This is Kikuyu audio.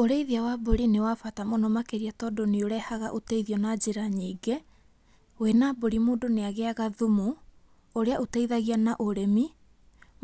Ũrĩithia wa mbũrĩ nĩ wa bata mũno makĩria tondũ nĩ ũrehaga ũteithio na njĩra nyĩngĩ, wĩna mbũri mũndũ nĩ agĩaga thumu ũrĩa ũteithagia na ũrĩmi